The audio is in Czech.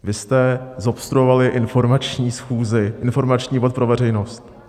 Vy jste zobstruovali informační schůzi, informační bod pro veřejnost.